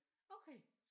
Okay